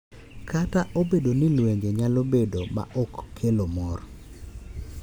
Kata obedo ni lwenje nyalo bedo ma ok kelo mor,